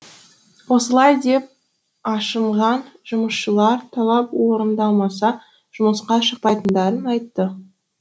осылай деп ашынған жұмысшылар талап орындалмаса жұмысқа шықпайтындарын айтты